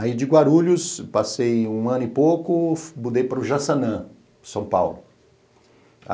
Aí de Guarulhos, passei um ano e pouco, mudei para o Jaçanã, São Paulo.